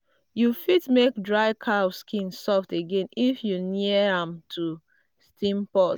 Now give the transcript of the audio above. you fit make dried cow skin soft again if you near am to steam pot.